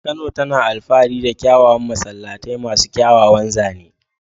Kano tana alfahari da kyawawan masallatai masu kyawawan zane.